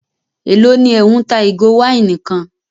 Élò ní ẹ́ ń ta ìgò wáìnì kan?